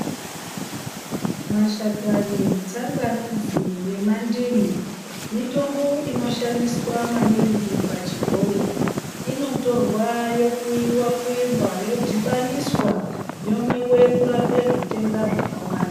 Mashakani, tsangamidzi nemandimu mitombo inoshandiswa maningi pachibhoi. Inotorwa yokuyiwa kuyiwa, yodhibaniswa, yomwiwe kurape zvitenda zvakawanda.